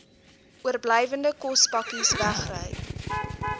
oorblywende kospakkes wegry